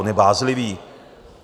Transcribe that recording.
On je bázlivý.